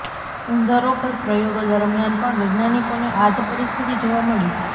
ઉંદરો ઉપર પ્રયોગો દરમિયાન પણ વૈજ્ઞાાનિકોને આ જ પરિસ્થિતિ જોવા મળી